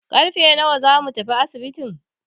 Karfe nawa zamu tafi asibitin?